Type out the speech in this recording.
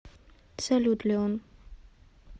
салют лион